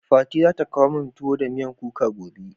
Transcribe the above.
Fati za ta kawo min tuwo da miyan kuka gobe.